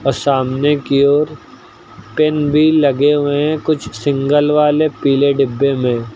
सामने की ओर पेन भी लगे हुए है कुछ सिंगल वाले पीले डिब्बे में।